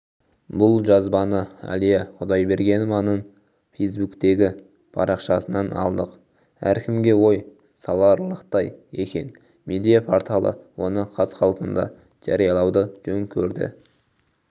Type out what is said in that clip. бұл жазбаныәлия құдайбергенованың фейсбуктегі парақшасынан алдық әркімге ой саларлықтай екен медиа-порталы оны қаз-қалпында жариялауды жөн көрді